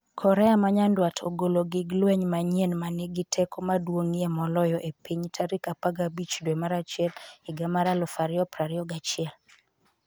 Korea ma Nyanduat ogolo gig lweny manyien 'ma nigi teko maduong'ie moloyo e piny' tarik 15 dwe mar achiel higa mar 2021